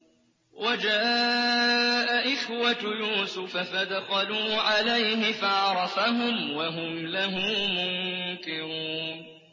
وَجَاءَ إِخْوَةُ يُوسُفَ فَدَخَلُوا عَلَيْهِ فَعَرَفَهُمْ وَهُمْ لَهُ مُنكِرُونَ